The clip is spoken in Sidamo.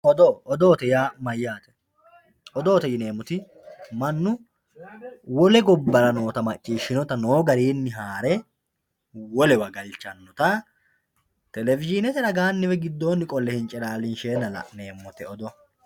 Odoo, odoote yaa mayate, odootte yinnemoti manu wole gabbara nootta maccishantinotta noo garinni haarre wolewa galichanotta televishinette raganni woyi giddonni qole hi'ncciilalinsheenna la'neemotte odoo